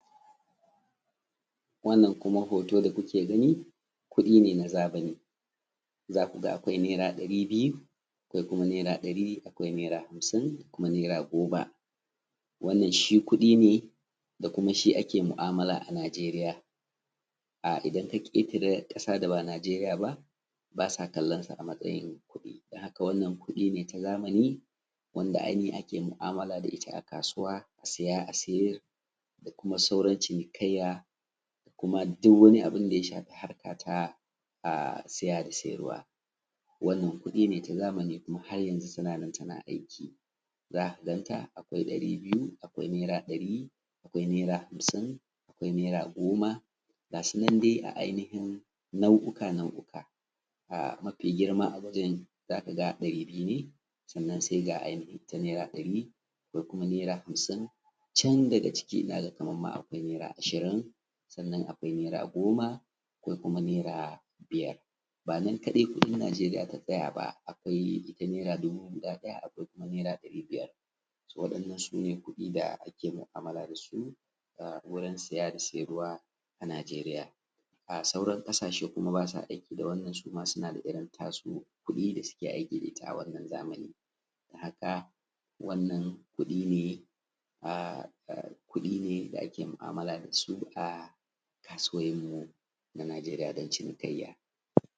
wannan kuma hoto da kuke gani kudi ne na zamani zaku ga akwai naira dari biyu naira dari akwai naira hamsin akwai naira goma wannan shi kudi ne da kuma shi ake ma’amala a najeriya idan kafita wuri da ba najeriya ba basu kallonshi a matsayin kudi dan haka wannan kudi ne ta zamani wanda anihin ake ma’amala dashi a kasuwa a saya a sayar da kuma sauran cinikayya da duk wani abun da ya shafi siya da sayarwa wannan kudi ne ta zamani kuma har yanzu tana aiki zaka ganta akwai dari biyu akwai naira dari a kwai naira hamsin akwai naira goma gasunan dai a ai nihin nau’uka nau’uka mafi girma a kudin zakaga dari biyu ne sannan dari sannan hamsin chan daga ciki naga Kaman akwai naira ashirin sannan naira goma sannan naira biyar banan kadai kudin najeriya ta tsaya ba akwai naira dubu guda daya akwai kuma naira dari biyar wadannan sune kudin da ake ma’mala dasu a saya a sayarwa a najeriya a sauran kasashe kuma basa aiki da wannan suma sunada irrin tasu kudi da suke aiki da itta a wannan zamanin haka wannan kudi ne da mu’amala dasu a kasuwanni a najeriya dan cinikayya.